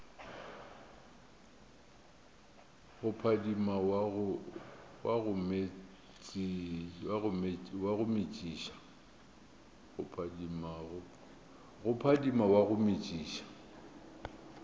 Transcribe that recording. go phadima wa go metšiša